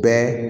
Bɛɛ